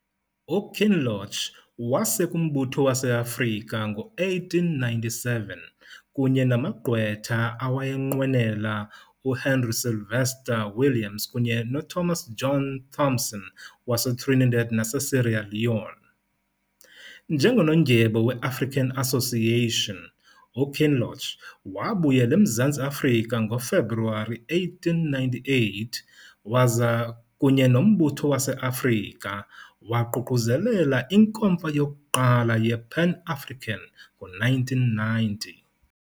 UKinloch waseka uMbutho waseAfrika ngo-1897 kunye namagqwetha awayenqwenela uHenry Sylvester-Williams kunye noThomas John Thompson waseTrinidad naseSierra Leone. Njengonondyebo weAfrican Association, uKinloch wabuyela eMzantsi Afrika ngoFebruwari 1898 waza, kunye noMbutho waseAfrika, waququzelela iNkomfa yokuqala yePan-African ngo-1990.